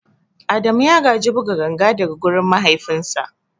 Adamu ya gaji buga ganga daga wurin mahaifinsa.